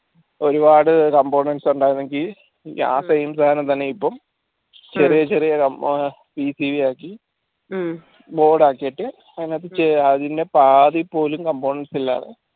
ഒരുപാട് components ഉണ്ടായിരുന്നെങ്കി ആ same സാനം തന്നെ ഇപ്പോ ചെറിയ ചെറിയ ആക്കി board ആക്കി